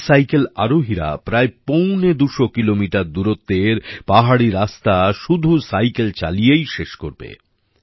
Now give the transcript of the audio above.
এই সাইকেল আরোহীরা প্রায় পৌনে দুশো কিলোমিটার দূরত্বের পাহাড়ি রাস্তা শুধু সাইকেল চালিয়েই শেষ করবে